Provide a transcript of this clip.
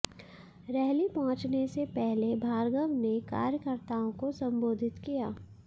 रहली पहुंचने से पहले भार्गव ने कार्यकर्ताओं को संबोधित किया